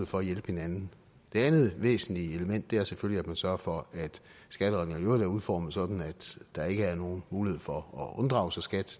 for at hjælpe hinanden det andet væsentlige element er selvfølgelig at man sørger for at skattereglerne er udformet sådan at der ikke er nogen mulighed for at unddrage sig skat